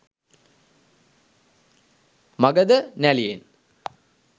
Magadha නැළියෙන්